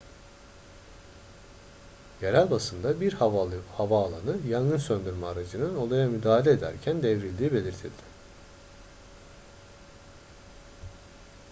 yerel basında bir havaalanı yangın söndürme aracının olaya müdahale ederken devrildiği belirtildi